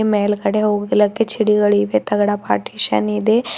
ಮೇಲ್ಗಡೆ ಹೋಗಲಿಕ್ಕೆ ಚಡಿಗಳಿವೆ ತಗಡ ಪಾರ್ಟಿಶನ್ ಇದೆ.